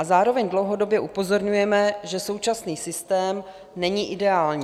A zároveň dlouhodobě upozorňujeme, že současný systém není ideální.